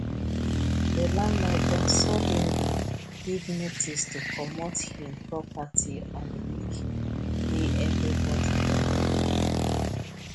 the landlord don suddenly give notice to comot hin property on week wey everybody don go work